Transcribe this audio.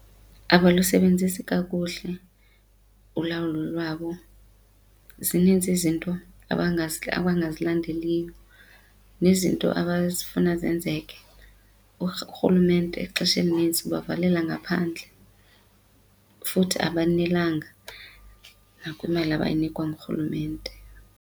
Abalusebenzisi kakuhle ulawulo lwabo, zininzi izinto abangazilandeliyo nezinto abazifuna zenzeke. Urhulumente ixesha elinintsi ubavalela ngaphandle futhi abanelanga nakwimali abayinikwa ngurhulumente.